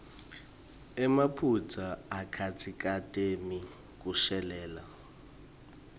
emaphutsa akatsikameti kushelela